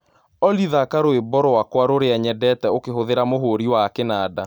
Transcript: Olly thaka rwĩmbo rwakwa rũrĩa nyendete ũkĩhũthĩra mũhũrĩ wa kinanda